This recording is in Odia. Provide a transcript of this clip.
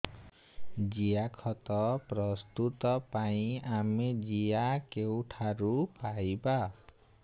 ଜିଆଖତ ପ୍ରସ୍ତୁତ ପାଇଁ ଆମେ ଜିଆ କେଉଁଠାରୁ ପାଈବା